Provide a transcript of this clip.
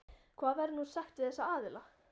Hvað verður nú sagt við þessa aðila?